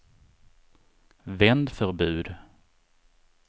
vändförbud